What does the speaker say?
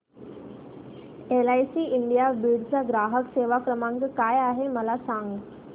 LIC India Beed चा ग्राहक सेवा क्रमांक काय आहे मला सांग